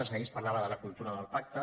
ahir es parlava de la cultura del pacte